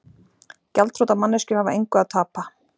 Gjaldþrota manneskjur hafa engu að tapa.